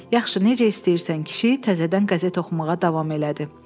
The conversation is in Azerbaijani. Yaxşı, necə istəyirsən, kişi təzədən qəzet oxumağa davam elədi.